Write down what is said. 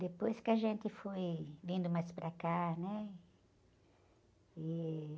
Depois que a gente foi vindo mais para cá, né? E...